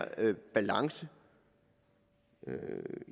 balance